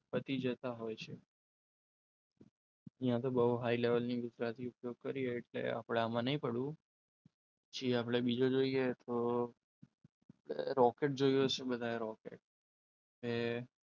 પતી જતા હોય છે અહીંયા તો બહુ હાઈ લેવાની ગુજરાતી ઉપયોગ કરી છે એટલે આપણે આમાં નથી પડવું પછી આપણે બીજો જોઈએ તો રોકેટ જોયું હશે બધાએ રોકેટ એ,